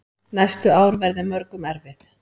Næstu ár verði mörgum erfið.